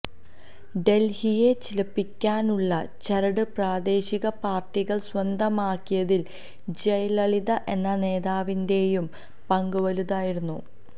ഡല്ഹിയെ ചലിപ്പിക്കാനുള്ള ചരട് പ്രാദേശിക പാര്ട്ടികള് സ്വന്തമാക്കിയതില് ജയലളിത എന്ന നേതാവിന്റെയും പങ്ക് വലുതായിരുന്നു